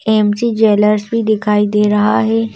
MG jewellers भी दिखाई दे रहा है।